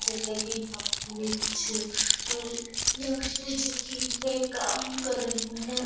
जैसे की यहाँ पे ये कुछ लड़कियां हैं जो की ये काम कर रही हैं।